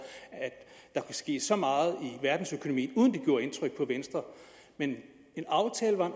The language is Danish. at der kunne ske så meget i verdensøkonomien uden at det gjorde indtryk på venstre men en aftale var